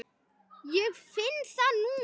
Ég finn það núna.